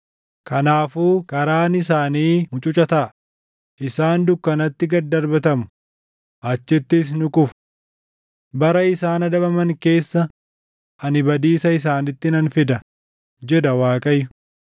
“Kanaafuu karaan isaanii mucuca taʼa; isaan dukkanatti gad darbatamu; achittis ni kufu. Bara isaan adabaman keessa, ani badiisa isaanitti nan fida” jedha Waaqayyo.